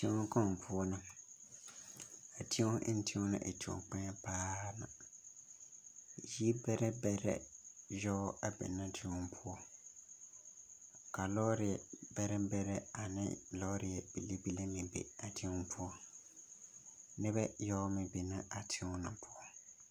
Teŋa kaŋ poɔ la a teŋa eɛ teŋa naŋ e teŋkpoŋ paa yiri bɛrɛ bɛrɛ yaga be la a die poɔ ka lɔre bɛrɛ bɛrɛ ane lɔre bilii bilii be a teŋa poɔ noba yaga meŋ be la a teŋa na poɔ